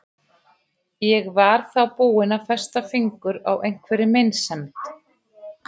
Ég var þá búin að festa fingur á einhverri meinsemd.